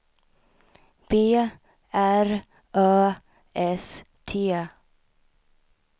B R Ö S T